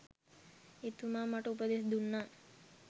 එතුමා මට උපදෙස් දුන්නා